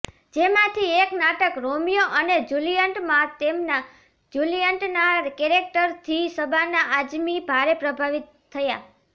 જેમાંથી એક નાટક રોમિયો અને જૂલિયટમાં તેમના જૂલિયટના કેરેક્ટરથી શબાના આઝમી ભારે પ્રભાવિત થયાં